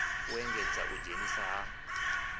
u engedza u ḓidzhenisa ha